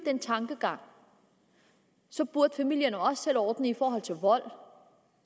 den tankegang burde familien selv ordne det i forhold til vold